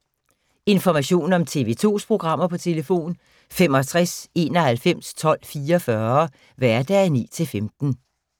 Information om TV 2's programmer: 65 91 12 44, hverdage 9-15.